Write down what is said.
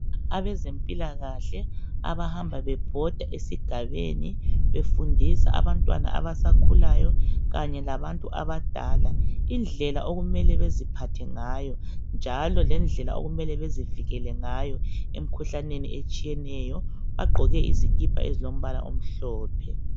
Abezempilakahle abahamba bebhoda ezigabeni befundisa abantwana abasakhulayo kanye labantu abadala indlela okumele beziphathe ngayo njalo lendlela okumele bazivikele ngayo emkhuhlaneni bagqoke izikipa ezilombala omhlophe.